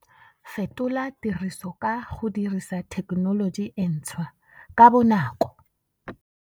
Fetola tiriso ka go dirisa thekenoloji e ntshwa - ka bonako!